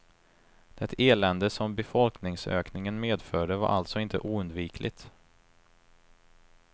Det elände som befolkningsökningen medförde var alltså inte oundvikligt.